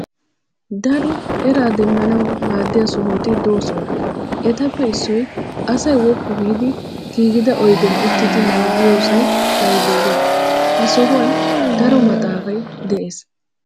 Daro eraa demmanawu maaddiya sohoti doosona etappe issoyi asayi woppu giidi giigida oyidiyan uttidi nababiyoosay layibireeriyaa. Ha sohuwan daro maxxaafayi desi.